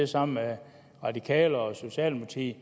sammen med radikale og socialdemokratiet